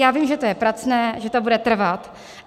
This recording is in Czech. Já vím, že to je pracné, že to bude trvat.